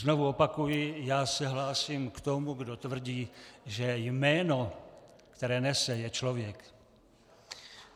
Znovu opakuji, já se hlásím k tomu, kdo tvrdí, že jméno, které nese, je člověk.